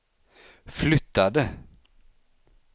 flyttade